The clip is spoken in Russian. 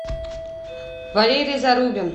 валерий зарубин